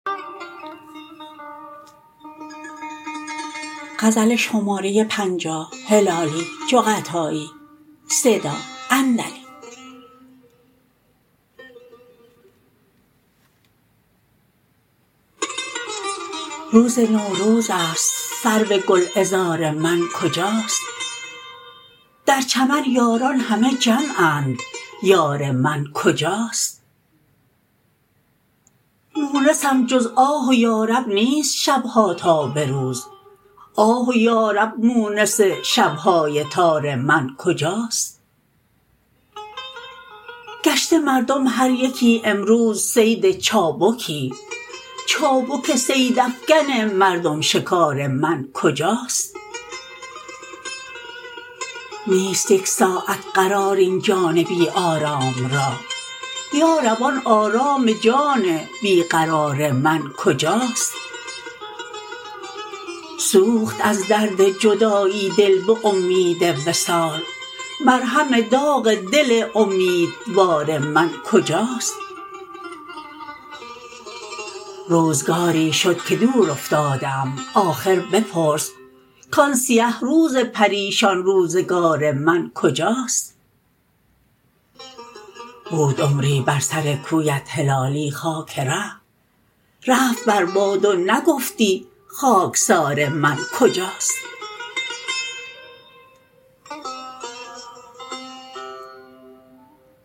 روز نوروزست سرو گل عذار من کجاست در چمن یاران همه جمعند یار من کجاست مونسم جز آه و یارب نیست شبها تا بروز آه و یارب مونس شبهای تار من کجاست گشته مردم هر یکی امروز صید چابکی چابک صید افگن مردم شکار من کجاست نیست یک ساعت قرار این جان بی آرام را یارب آن آرام جان بی قرار من کجاست سوخت از درد جدایی دل بامید وصال مرهم داغ دل امیدوار من کجاست روزگاری شد که دور افتاده ام آخر بپرس کان سیه روز پریشان روزگار من کجاست بود عمری بر سر کویت هلالی خاک ره رفت بر باد و نگفتی خاکسار من کجاست